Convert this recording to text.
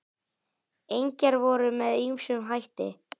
Engjar voru með ýmsum hætti.